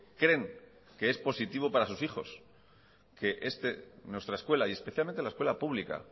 creen que es positivo para sus hijos que nuestra escuela y especialmente la escuela pública